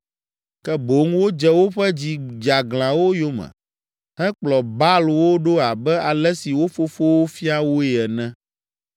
Ke boŋ wodze woƒe dzi dzeaglãwo yome hekplɔ Baalwo ɖo abe ale si wo fofowo fia woe ene.”